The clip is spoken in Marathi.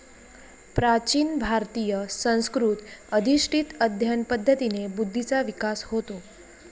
प्राचीन भारतीय संस्कृत अधिष्टित अध्ययन पद्धतीने बुद्धीचा विकास होतो.